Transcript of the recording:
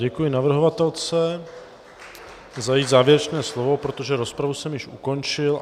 Děkuji navrhovatelce za její závěrečné slovo, protože rozpravu jsem již ukončil.